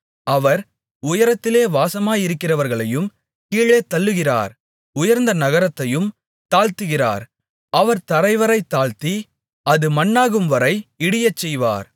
அவர் உயரத்திலே வாசமாயிருக்கிறவர்களையும் கீழே தள்ளுகிறார் உயர்ந்த நகரத்தையும் தாழ்த்துகிறார் அவர் தரைவரை தாழ்த்தி அது மண்ணாகும்வரை இடியச்செய்வார்